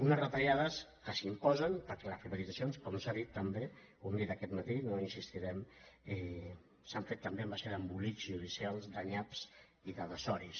unes retallades que s’imposen perquè les privatitza·cions com s’ha dit també ho hem dit aquest matí no hi insistirem s’han fet també a base d’embolics ju·dicials de nyaps i de desoris